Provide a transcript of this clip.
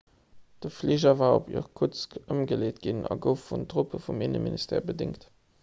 de fliger war op irkutsk ëmgeleet ginn a gouf vun truppe vum inneminstère bedéngt